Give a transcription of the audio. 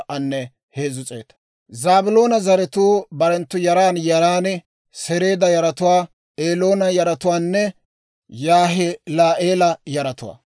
Zaabiloona zaratuu barenttu yaran yaran: Sereeda yaratuwaa, Eloona yaratuwaanne Yaahila'eela yaratuwaa.